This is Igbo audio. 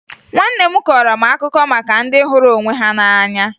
Nwanne m kọọrọ m akụkọ maka ndị hụrụ onwe ha n'anya